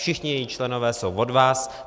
Všichni její členové jsou od vás.